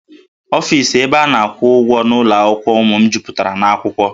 Ọfis ebe a na-akwụ ụgwọ n'ụlọ akwụkwọ ụmụ m jupụtara na akwụkwọ